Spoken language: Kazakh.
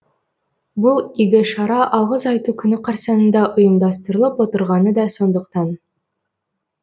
бұл игі шара алғыс айту күні қарсаңында ұйымдастырылып отырғаны да сондықтан